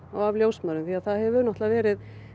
og af ljósmæðrum það hefur verið